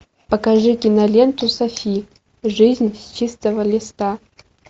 покажи киноленту софи жизнь с чистого листа